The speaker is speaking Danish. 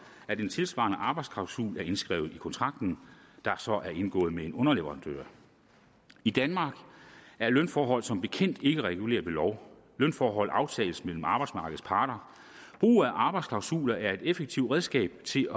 at en tilsvarende arbejdsklausul er indskrevet i kontrakten der så er indgået med en underleverandør i danmark er lønforhold som bekendt ikke reguleret ved lov lønforhold aftales mellem arbejdsmarkedets parter brug af arbejdsklausuler er et effektivt redskab til